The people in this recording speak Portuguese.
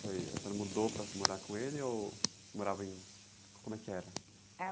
Foi, a senhora mudou para morar com ele ou morava em... Como é que era?h.